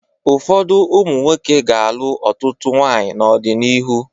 Ụfọdụ ụmụ nwoke ga-alụ ọtụtụ nwaanyị n'ọdịnihu.